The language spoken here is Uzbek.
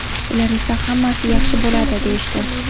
Ular esa ‘hammasi yaxshi bo‘ladi’ deyishdi.